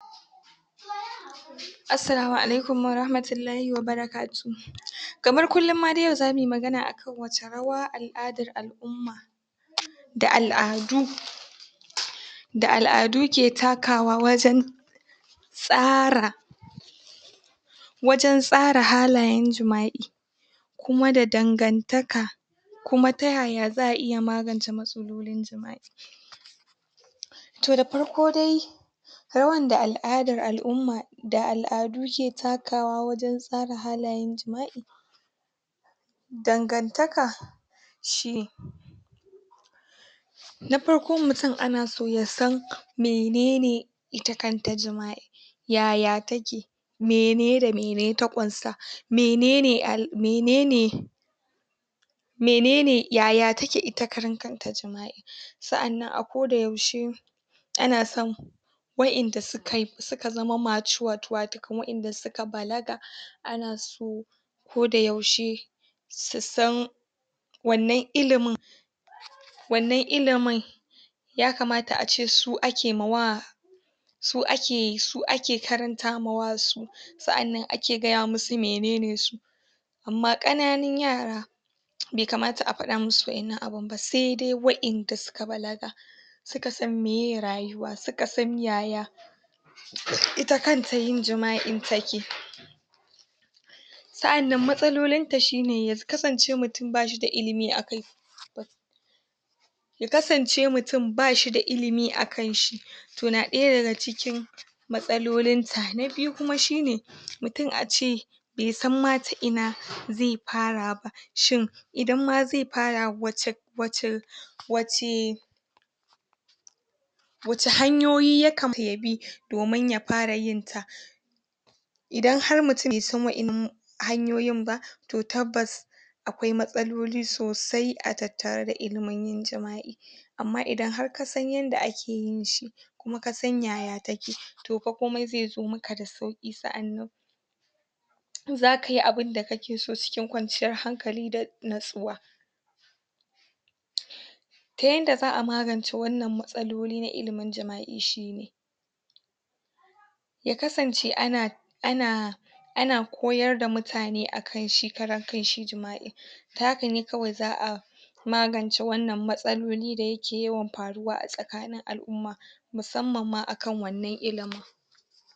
Assalamu Alaikum Wa Rahmatullahi Wa Barakatu kamar kullum ma dai yau zamuyi magana akan wace rawa al'adar alumma da al'adu da al'adu ke takawa wajan tsara wajan tsara halayan jima'i kuma da dangantaka kuma ta yaya za'a iya magance matsalolin jima'i. Toh da parko dai rawan da al'adar alumma da al'adu ke takawa wajan tsara halayan jima'i, dangantaka shine. Na parko mutum ana so yasan menene ita kanta jima'i, yaya take mene da mene ta ƙunsa, menene al menene menene yaya take ita karan kanta jima'i Sa'annan a koda yaushe ana san wa'inda suka suka zama matured watakan wa'inda suka balaga ana so koda yaushe susan wannan ilimin wannan ilimin yakamata ace su ake mawa su ake su ake karanta mawa su sa'annan ake gaya musu menene su. Amma ƙananun yara be kamata a pada musu wa'innan abun ba sedai wa'inda suka balaga suka san meye rayuwa suka san yaya ita kanta yin jima'in take. Sa'annan matsalolinta shine ya kasance mutum bashida ilimi akai ya kasance mutum bashida ilimi akan shi toh na ɗaya daga cikin matsalolinta. Na biyu kuma shine mutum ace besan ma ta ina ze para ba shin idan ma ze para wace wace wace wace hanyoyi ya kamata yabi domin ya para yinta. Idan har mutum besan wa'innan hanyoyin ba toh tabbas akwai matsaloli sosai a tattare da ilimin yin jima'i, amma idan har kasan yanda ake yinshi, kuma kasan yaya take toh pa komai ze zo maka da sauƙi sa'annan zakayi abinda kake so cikin kwanciyar hankali da natsuwa. Ta yanda za'a magance wannan matsaloli na ilimin jima'i shine ya kasance ana ana ana koyarda mutane akan shi karan kan shi jima'i ta hakane kawai za'a magance wannan matsaloli da yake yawan paruwa a tsakanin al'umma musamman ma akan wannan ilimin.